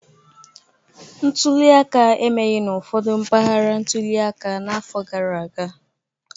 Ntuli aka emeghị n'ụfọdụ mpaghara ntuli aka n'afọ gara aga